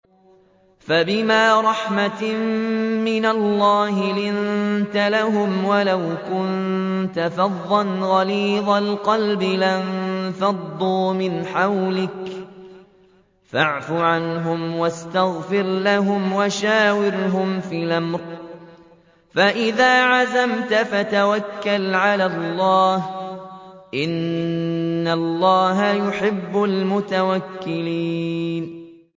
فَبِمَا رَحْمَةٍ مِّنَ اللَّهِ لِنتَ لَهُمْ ۖ وَلَوْ كُنتَ فَظًّا غَلِيظَ الْقَلْبِ لَانفَضُّوا مِنْ حَوْلِكَ ۖ فَاعْفُ عَنْهُمْ وَاسْتَغْفِرْ لَهُمْ وَشَاوِرْهُمْ فِي الْأَمْرِ ۖ فَإِذَا عَزَمْتَ فَتَوَكَّلْ عَلَى اللَّهِ ۚ إِنَّ اللَّهَ يُحِبُّ الْمُتَوَكِّلِينَ